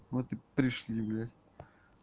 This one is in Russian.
вот и пришли блядь